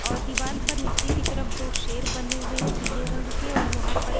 और पर नीचे की तरफ दो शेर बने हुए हैं पीले रंग के और यहाँ पर।